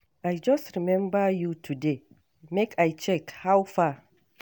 I just remember you today, make I check how far.